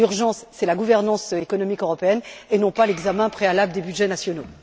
L'urgence, c'est la gouvernance économique européenne et non l'examen préalable des budgets nationaux.